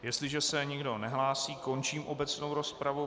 Jestliže se nikdo nehlásí, končím obecnou rozpravu.